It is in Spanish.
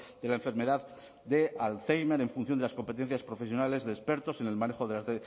de la enfermedad de alzheimer en función de las competencias profesionales de expertos en el manejo de las